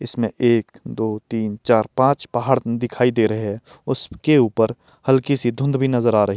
इसमें एक दो तीन चार पांच पहाड़ दिखाई दे रहे हैं उसके ऊपर हल्की सी धुंध भी नजर आ रही --